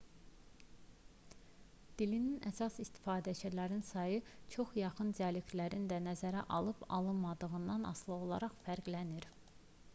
dilin əsas istifadəçilərinin sayı çox yaxın dialektlərin də nəzərə alınıb alınmadığından asılı olaraq fərqlənir